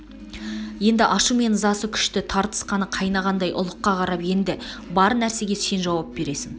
енді ашу емес ызасы күшті тартыс қаны қайнағандай ұлыққа қарап енді бар нәрсеге сен жауап бересің